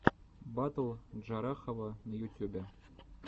батл джарахова на ютюбе